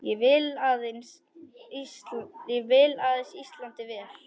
Ég vil aðeins Íslandi vel.